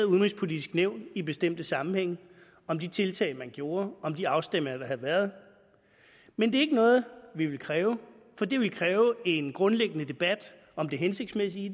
udenrigspolitiske nævn i bestemte sammenhænge om de tiltag man gjorde og de afstemninger der havde været men det er ikke noget vi vil kræve for det ville kræve en grundlæggende debat om det hensigtsmæssige i